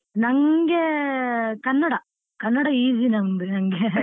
ನಂಗೆ ಕನ್ನಡ, ಕನ್ನಡ easy ನಂಗೆ .